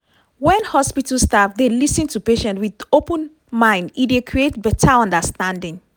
when hospital staff dey lis ten to patient with open mind e dey create beta understanding.